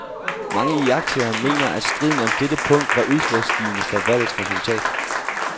Mange iagttagere mener, at striden om dette punkt var udslagsgivende for valgets resultat.